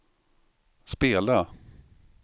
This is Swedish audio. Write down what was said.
spela